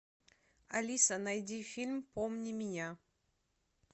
алиса найди фильм помни меня